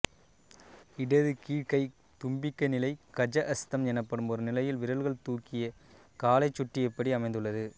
இடது கீழ்க் கை தும்பிக்கை நிலை கஜஹஸ்தம் எனப்படும் ஒருநிலையில் விரல்கள் தூக்கிய காலைச் சுட்டியபடி அமைந்துள்ளது